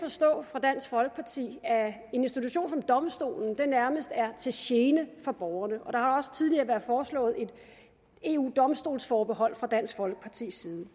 på dansk folkeparti at en institution som domstolen nærmest er til gene for borgerne og der har også tidligere været foreslået et eu domstolsforbehold fra dansk folkepartis side